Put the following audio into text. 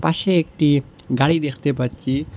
পাশে একটি গাড়ি দেখতে পাচ্ছি।